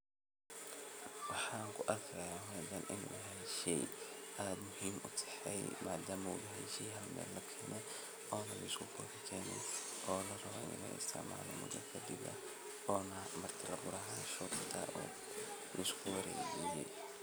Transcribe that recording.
Waxaan ku arkaaya inu yahay sheey aad muhiim u ah oona larabo in la isticmaalo oo hada la keene oo lisku warejiye.